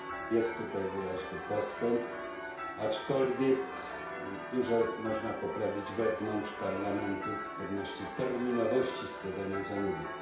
Jest tutaj wyraźny postęp, aczkolwiek dużo można poprawić wewnątrz Parlamentu odnośnie terminowości składania zamówień.